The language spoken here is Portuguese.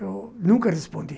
Eu nunca respondi.